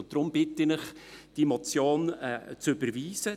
Deshalb bitte ich Sie, diese Motion zu überweisen.